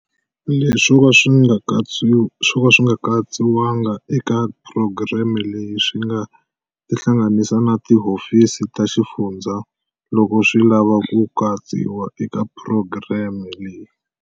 Leswi swo ka swi nga katsiwanga eka phurogireme leyi swi nga tihlanganisa na tihofisi ta xifundza loko swi lava ku katsiwa eka phurogireme leyi.